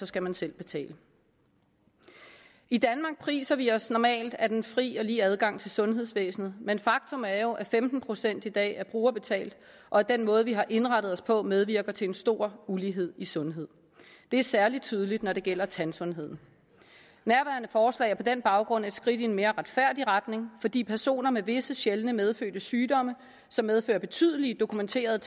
skal man selv betale i danmark priser vi os normalt af den frie og lige adgang til sundhedsvæsenet men faktum er jo at femten procent i dag er brugerbetalt og at den måde vi har indrettet os på medvirker til en stor ulighed i sundhed det er særlig tydeligt når det gælder tandsundheden nærværende forslag er på den baggrund et skridt i en mere retfærdig retning fordi personer med visse sjældne medfødte sygdomme som medfører betydelige dokumenterede